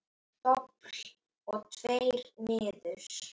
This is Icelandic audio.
Dobl og tveir niður.